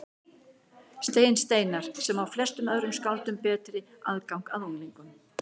Stein Steinarr, sem á flestum öðrum skáldum betri aðgang að unglingum.